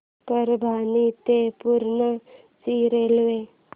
परभणी ते पूर्णा ची रेल्वे